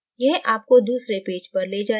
यह आपको दूसरे पेज पर ले जाएगा